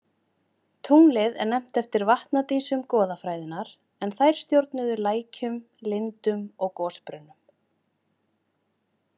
Tunglið er nefnt eftir vatnadísum goðafræðinnar en þær stjórnuðu lækjum, lindum og gosbrunnum.